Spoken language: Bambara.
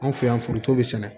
Anw fɛ yan foronto bi sɛnɛ